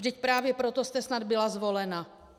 Vždyť právě proto jste snad byla zvolena.